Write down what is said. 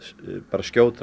skjótra